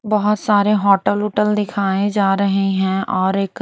बहुत सारे होटल वटल दिखाए जा रहे हैं और एक--